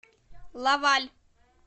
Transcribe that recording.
лаваль